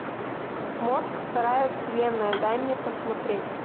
мозг вторая вселенная дай мне посмотреть